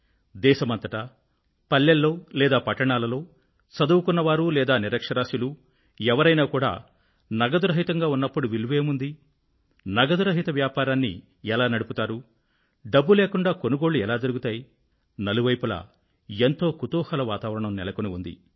దేశమంతటా పల్లెల్లో లేదా పట్టణాలలో చదువుకున్న వారు లేదా నిరక్ష్యరాస్యులు ఎవరైనా కూడా నగదురహితంగా ఉన్నప్పుడు విలువేముంది నగదురహిత వ్యాపారాన్ని ఎలా నడుపుతారు డబ్బు లేకుండా కొనుగోళ్ళు ఎలా జరుగుతాయి నలువైపులా ఎంతో కుతూహల వాతావరణం నెలకొని ఉంది